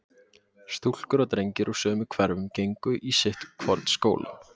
stúlkur og drengir úr sömu hverfum gengu í sitt hvorn skólann.